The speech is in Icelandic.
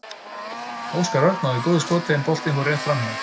Óskar Örn náði góðu skoti en boltinn fór rétt framhjá.